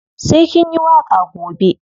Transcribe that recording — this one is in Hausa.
Sai kin yi waƙa gobe.